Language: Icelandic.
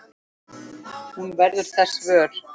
Hún verður þess vör.